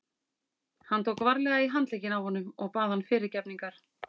Hann tók varlega í handlegginn á honum og bað hann fyrirgefningar.